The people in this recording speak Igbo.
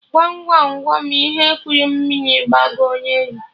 Gwam Gwam Gwam ihe kuru mmiri gbagoo na elu?